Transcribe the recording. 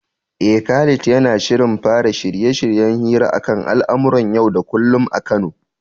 Eh, Khalid yana shirin fara shirye-shiryen hira akan al'amuran yau da kullum a Kano.